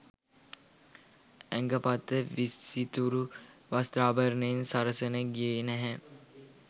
ඇඟපත විසිතුරු වස්ත්‍රාභරණයෙන් සරසන්න ගියේ නෑ.